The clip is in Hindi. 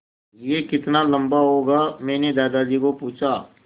यह कितना लम्बा होगा मैने दादाजी को पूछा